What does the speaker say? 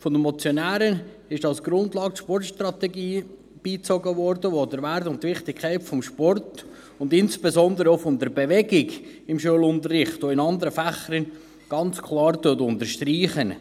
Von den Motionären wurde die Sportstrategie als Grundlage beigezogen, die den Wert und die Wichtigkeit des Sports und insbesondere auch der Bewegung im Schulunterricht, auch in anderen Fächern, ganz klar unterstreicht.